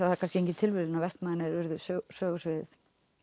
það er kannski engin tilviljun að Vestmannaeyjar urðu sögusviðið